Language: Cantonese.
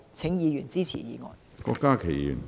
請議員支持議案。